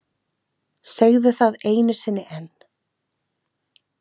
Segðu það einu sinni enn.